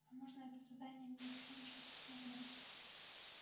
а можно это задание мне тихонечко спросил гарик